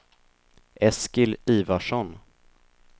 Eskil Ivarsson